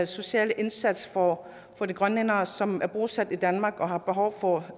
sociale indsats for de grønlændere som er bosat i danmark og har behov for